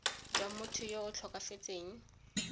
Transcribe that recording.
jwa motho yo o tlhokafetseng